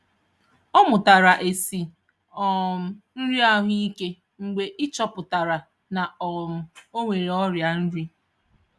Ọ mụtara esi um nri ahụike mgbe e chọpụtara na um ọ nwere ọrịa nri.